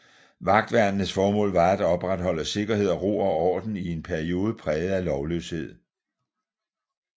Vagtværnenes formål var at opretholde sikkerhed og ro og orden i en periode præget af lovløshed